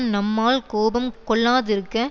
நம்மால் கோபம் கொள்ளாதிருக்க